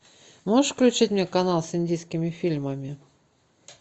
можешь включить мне канал с индийскими фильмами